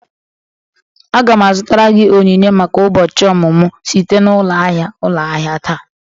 Aga m azụtara gị onyinye maka ụbọchị ọmụmụ site na ụlọ ahịa ụlọ ahịa taa